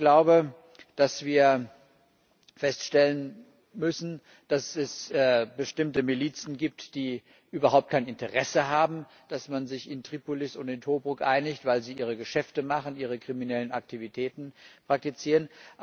Ich glaube, dass wir feststellen müssen, dass es bestimmte Milizen gibt, die überhaupt kein Interesse daran haben, dass man sich in Tripolis und in Tobruk einigt, weil sie ihre Geschäfte machen, ihre kriminellen Aktivitäten praktizieren.